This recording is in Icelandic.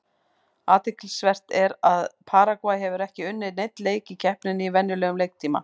Athyglisvert er að Paragvæ hefur ekki unnið neinn leik í keppninni í venjulegum leiktíma.